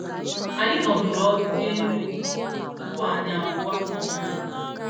Anyị nọdụrụ ọdụ rie nri ụtụtụ tupu anyị apụwa um